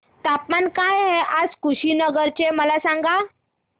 तापमान काय आहे आज कुशीनगर चे मला सांगा